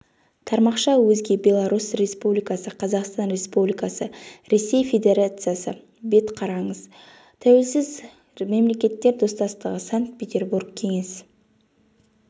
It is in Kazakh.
тармақша өзге беларусь республикасы қазақстан республикасы ресей федерациясы бет қараңыз тәуелсіз мемлекеттер достастығы санкт-петербург кеңес